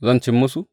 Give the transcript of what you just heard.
Zan ci musu?